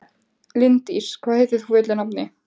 Líndís, hvað heitir þú fullu nafni?